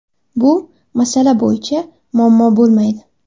Bu masala bo‘yicha muammo bo‘lmaydi.